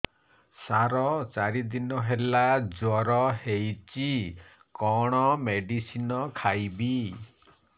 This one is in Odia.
ସାର ଚାରି ଦିନ ହେଲା ଜ୍ଵର ହେଇଚି କଣ ମେଡିସିନ ଖାଇବି